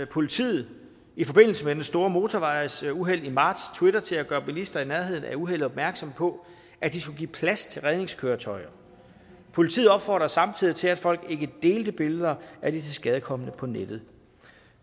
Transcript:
politiet i forbindelse med det store motorvejsuheld i marts twitter til at gøre bilister i nærheden af uheldet opmærksom på at de skulle give plads til redningskøretøjer politiet opfordrede samtidig til at folk ikke delte billeder af de tilskadekomne på nettet